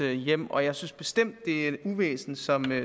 hjem og jeg synes bestemt at det er et uvæsen som